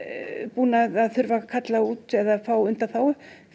búin að þurfa að kalla út eða fá undanþágu